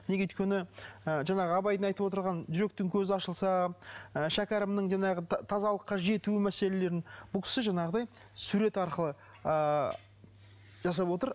неге өйткені ы жаңағы абайдың айтып отырған жүректің көзі ашылса і шәкәрімнің жаңағы тазалыққа жету мәселелерін бұл кісі жаңағыдай сурет арқылы ыыы жасап отыр